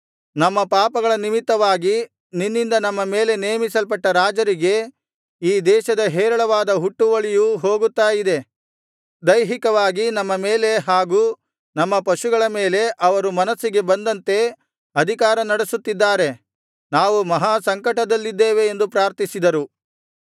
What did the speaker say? ನಮ್ಮ ಪಾಪಗಳ ನಿಮಿತ್ತವಾಗಿ ನಿನ್ನಿಂದ ನಮ್ಮ ಮೇಲೆ ನೇಮಿಸಲ್ಪಟ್ಟ ರಾಜರಿಗೆ ಈ ದೇಶದ ಹೇರಳವಾದ ಹುಟ್ಟುವಳಿಯು ಹೋಗುತ್ತಾ ಇದೆ ದೈಹಿಕವಾಗಿ ನಮ್ಮ ಮೇಲೆ ಹಾಗೂ ನಮ್ಮ ಪಶುಗಳ ಮೇಲೆ ಅವರು ಮನಸ್ಸಿಗೆ ಬಂದಂತೆ ಅಧಿಕಾರ ನಡಿಸುತ್ತಿದ್ದಾರೆ ನಾವು ಮಹಾಸಂಕಟದಲ್ಲಿದ್ದೇವೆ ಎಂದು ಪ್ರಾರ್ಥಿಸಿದರು